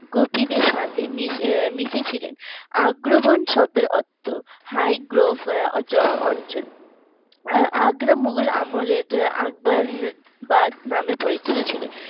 গোপীদের সাথে মি মিশে ছিলেন আগ্রাভান শব্দের অর্থ high group অঞ্চল। আগ্রা মোগল আমলের আকবর বাঁধ নামে পরিচিত ছিল